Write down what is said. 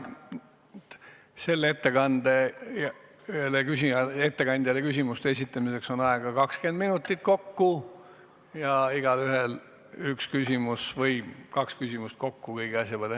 Selle ettekande tegijale küsimuste esitamiseks on aega 20 minutit ja igaühel on õigus esitada kaks küsimust kokku kogu asja peale.